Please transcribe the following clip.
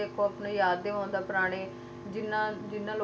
ਉਹ ਵੀ ਤੁਸੀ ਦੇਖੋ ਆਪਣੇ ਯਾਦ ਦੇ ਹੋਣ ਦਾ ਪੁਰਾਣੇ ਜਿਹਨਾਂ ਜਿਹਨਾਂ ਲੋਕਾਂ ਦੇ ਨਾਲ ਹਾਂਜੀ